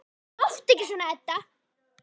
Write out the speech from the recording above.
Láttu ekki svona, Edda.